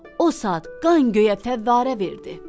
O saat qan göyə fəvvərə verdi.